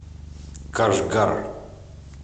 кашгар